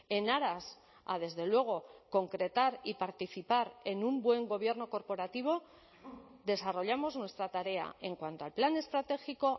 en aras a desde luego concretar y participar en un buen gobierno corporativo desarrollamos nuestra tarea en cuanto al plan estratégico